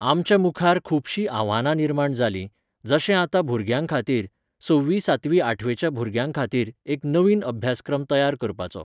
आमच्या मुखार खूबशीं आव्हानां निर्माण जालीं, जशें आतां भुरग्यांखातीर, सव्वी सातवी आठवेच्या भुरग्यांखातीर एक नवीन अभ्यासक्रम तयार करपाचो